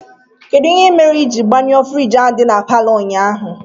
Kedụ ihe mere ijiri gbanyuo fruidge ahụ dị n'paló ụnyaahụ?